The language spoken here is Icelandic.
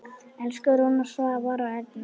Elsku Rúna, Svavar og Erna.